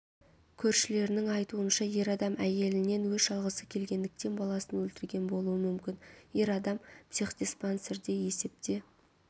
көршілерінің айтуынша ер адам әйелінен өш алғысы келгендіктен баласын өлтірген болуы мүмкін ер адам психдиспансерде есепте